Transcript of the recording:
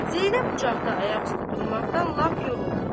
Zeynəb bucaqda ayaqüstə durmaqdan lap yoruldu.